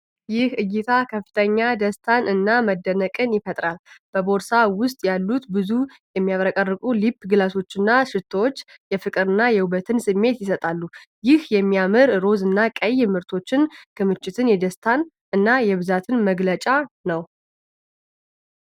ይህ እይታ ከፍተኛ ደስታን እና መደነቅን ይፈጥራል። በቦርሳ ውስጥ ያሉት ብዙ የሚያብረቀርቁ ሊፕ ግሎሶችና ሽቶዎች የፍቅርንና የውበትን ስሜት ይሰጣሉ። ይህ የሚያምር ሮዝ እና ቀይ የምርቶች ክምችት የደስታ እና የብዛት መግለጫ ነው።